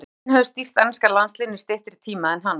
Enginn hefur stýrt enska landsliðinu í styttri tíma en hann.